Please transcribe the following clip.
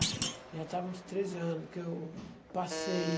Já estava nos treze anos que eu passei.